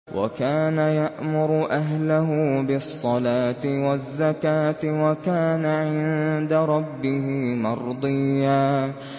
وَكَانَ يَأْمُرُ أَهْلَهُ بِالصَّلَاةِ وَالزَّكَاةِ وَكَانَ عِندَ رَبِّهِ مَرْضِيًّا